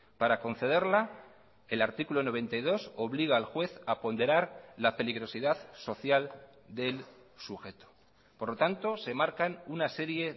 para concederla el artículo noventa y dos obliga al juez a ponderar la peligrosidad social del sujeto por lo tanto se marcan una serie